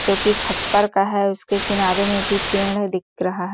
जो की खप्पर का है उसके किनारे मे भी पेड़ दिख रहा है।